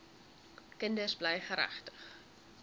kinders bly geregtig